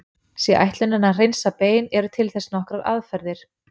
Sé ætlunin að hreinsa bein eru til þess nokkrar aðferðir.